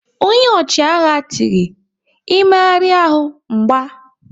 Ọnye ọchịagha tiri "Ị méhari ahụ, m gba"!